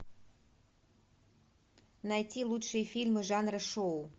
найти лучшие фильмы жанра шоу